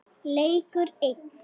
Leikur einn.